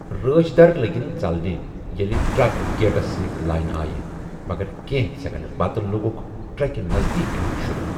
رٲچھ در لٔگِن ژلٕنۍ ییٚلہِ ٹرک گیٹس سۭتۍ لاینہٕ آیہِ، مگر کینٛہہ سیکنڈٕ پتہٕ لوگُکھ ٹرکہِ نزدیٖک یُن شروٗع۔